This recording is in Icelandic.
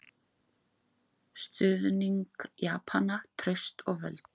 Stuðning Japana, traust og völd.